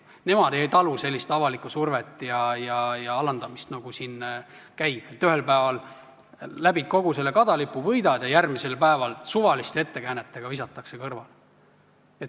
Nad ei talu sellist avalikku survet ja alandamist, nagu siin käib, et ühel päeval läbid kogu selle kadalipu, võidad, ja järgmisel päeval visatakse sind suvaliste ettekäänetega kõrvale.